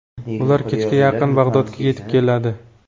Ular kechga yaqin Bag‘dodga yetib keladi.